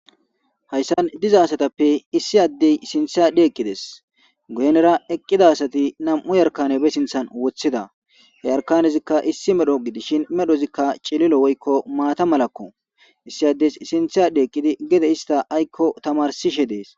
hayssan diza asatappe issi addey sinthadhi eqqides guhenera eqqida asati nam7u yarkanebe sinthan wothida he yarkanezikka issi medho gidishin medhozikka cililo woykko maata malakko issi addes sinthadhi eqqidi gede ista aykko tamarsishe dees